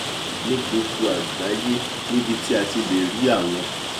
ní gbogbo àgbáyé níbi tí a ti lè rí àwọn